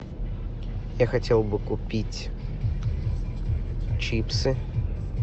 я хотел бы купить чипсы